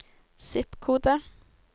zip-kode